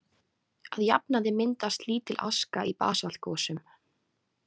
Að jafnaði myndast lítil aska í basaltgosum.